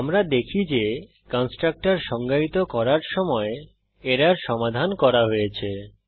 আমরা দেখি যে কন্সট্রকটর সংজ্ঞায়িত করার সময় এরর সমাধান করা হয়েছে